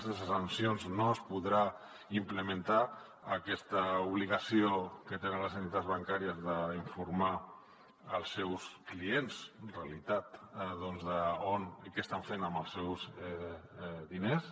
sense sancions no es podrà implementar aquesta obligació que tenen les entitats bancàries d’informar els seus clients en realitat doncs què estan fent amb els seus diners